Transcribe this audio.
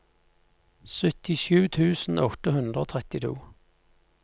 syttisju tusen åtte hundre og trettito